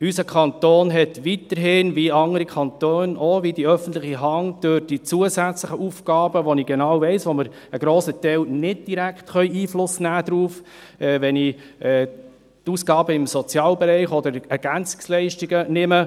Unser Kanton hat weiterhin, wie andere Kantone auch und wie die öffentliche Hand, zusätzliche Aufgaben übernommen, auf die wir, wie ich weiss, grösstenteils nicht direkt Einfluss nehmen können, wie etwa im Sozialbereich oder bei den Ergänzungsleistungen (EL).